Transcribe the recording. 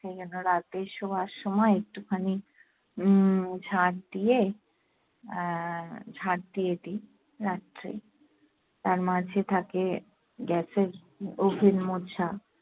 সেজন্য রাতে শোবার সময় একটুখানি উম ঝাট দিয়ে, আহ ঝাড় দিয়ে দিই রাত্রে। তারমাঝে থাকে gas এর oven মোছা।